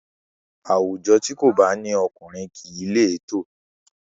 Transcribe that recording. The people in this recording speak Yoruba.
Àwùjọ tí kò bá ní ọkùnrin kìí létò